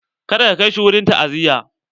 Ka da ka kai shi wurin ta'aziya!